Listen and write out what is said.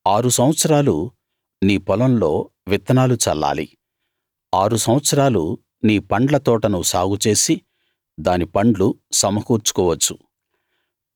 ఆరు సంవత్సరాలు నీ పొలంలో విత్తనాలు చల్లాలి ఆరు సంవత్సరాలు నీ పండ్ల తోటను సాగుచేసి దాని పండ్లు సమకూర్చుకోవచ్చు